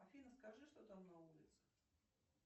афина скажи что там на улице